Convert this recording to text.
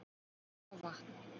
Hann varð að fá vatn.